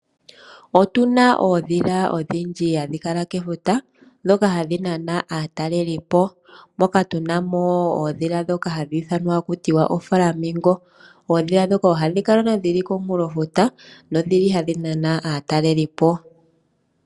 Otu na oondhila odhindji hadhi kala kefuta ndhoka hadhi nana aatalelipo moka tu namo oondhila ndhoka hadhi ithanwa haku tiwa ooFlamingo. Oondhila ndhoka ohadhi kala dhili komunkulofuta nodhili hadhi nana aatalelipo.